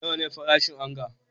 Nawa ne farashin onga?